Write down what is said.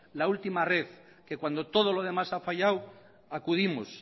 la última red que cuando todo lo demás ha fallado acudimos